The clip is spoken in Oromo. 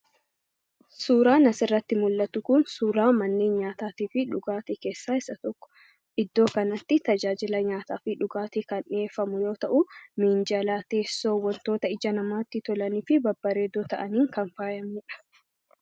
Suuraan asirratti mul'atu kun suuraa manneen nyaataa fi dhugaatii keessaa isa tokko. Iddoo kanatti tajaajila nyaataa fi dhugaatii kan dhiyeeffamu yoo ta'u, miinjala teessoo wantoota ija namaatti tolanii fi babbareedoo ta'aniin kan faayamedha.